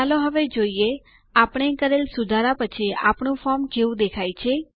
ચાલો હવે જોઈએ આપણે કરેલ સુધારા પછી આપણું ફોર્મ કેવું દેખાય છે